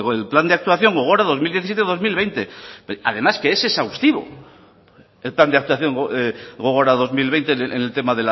el plan de actuación gogora dos mil diecisiete dos mil veinte además que es exhaustivo el plan de actuación gogora dos mil veinte en el tema